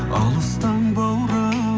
алыстан баурап